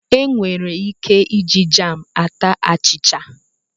Enwere ike iji jam ata achịcha.